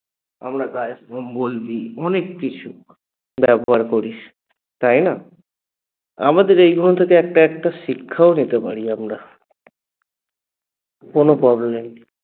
আমরা গায়ে কম্বল দিই অনেককিছু ব্যবহার করি তাই না? আমাদের এই ধরণ থেকে একটা একটা শিক্ষাও নিতে পারি আমরা কোনো